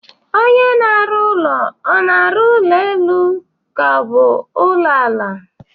Onye na-arụ ụlọ a na-arụ ụlọ elu ka ọ bụ ụlọ ala?